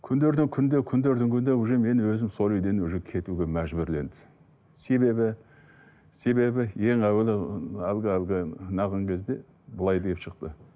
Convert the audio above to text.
күндердің күнінде күндердің күнінде уже мен өзім сол үйден уже кетуге мәжбүрледі себебі себебі ең әуелі әлгі әлгі кезде былай деп шықты